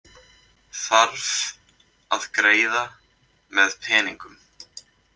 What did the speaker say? Þarf að greiða með peningum